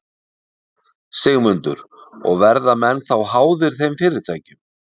Sigmundur: Og verða menn þá háðir þeim fyrirtækjum?